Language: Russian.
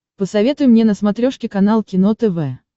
посоветуй мне на смотрешке канал кино тв